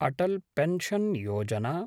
Atal pension Yojana